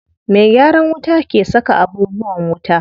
Me gyaran wuta ke saka abubuwan wuta.